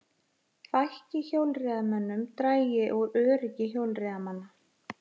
Fækki hjólreiðamönnum dragi úr öryggi hjólreiðamanna